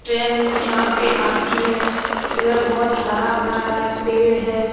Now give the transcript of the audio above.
Train यहाँ पे आती है इधर बहुत हरा-भरा है पेड़ है।